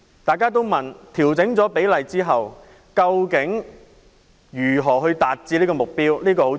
大家都問調整比例之後，如何達致目標？